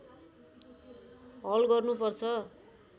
हल गर्नु पर्छ